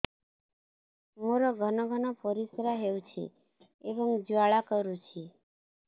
ମୋର ଘନ ଘନ ପରିଶ୍ରା ହେଉଛି ଏବଂ ଜ୍ୱାଳା କରୁଛି